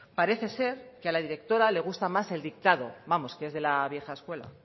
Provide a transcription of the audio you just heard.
parece ser que a la directora le gusta más el dictado vamos que es de la vieja escuela